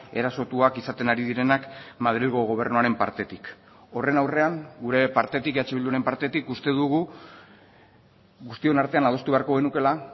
erasotuak izaten ari direnak madrilgo gobernuaren partetik horren aurrean gure partetik eh bilduren partetik uste dugu guztion artean adostu beharko genukeela